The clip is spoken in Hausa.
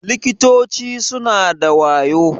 Likitoci suna da wayo.